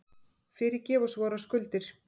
Fyrirgef oss vorar skuldir,